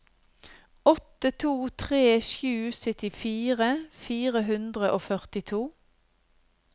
åtte to tre sju syttifire fire hundre og førtito